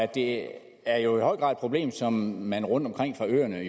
det er jo i høj grad et problem som man rundtomkring på øerne